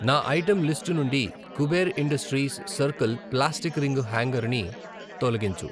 నా item list నుండి Kuber industries circle plastic ring hanger ని తొలగించు.